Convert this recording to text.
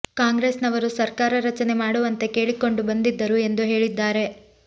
ಕಾಂಗ್ರೆಸ್ ನವರು ಸರ್ಕಾರ ರಚನೆ ಮಾಡುವಂತೆ ಕೇಳಿಕೊಂಡು ಬಂದಿದ್ದರು ಎಂದು ಹೇಳಿದ್ದಾರೆ